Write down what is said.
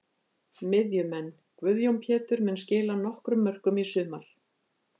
Miðjumenn: Guðjón Pétur mun skila nokkrum mörkum í sumar.